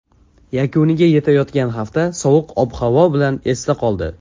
Yakuniga yetayotgan hafta sovuq ob-havosi bilan esda qoldi.